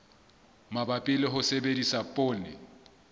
mabapi le ho sebedisa poone